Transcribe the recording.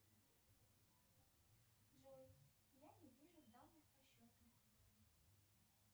джой я не вижу данных по счету